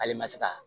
Ale ma se ka